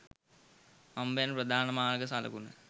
හම්බෙන ප්‍රධාන මාර්ග සලකුණ.